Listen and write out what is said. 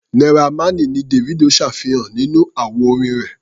Naira Marley ni Davido ṣàfihàn nínú àwo-orin rẹ̀.